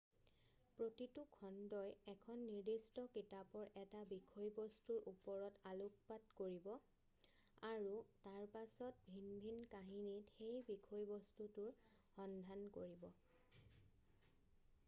প্ৰতিটো খণ্ডই এখন নিৰ্দিষ্ট কিতাপৰ এটা বিষয়বস্তুৰ ওপৰত আলোকপাত কৰিব আৰু তাৰপাছত ভিন ভিন কাহিনীত সেই বিষয়বস্তুটোৰ সন্ধান কৰিব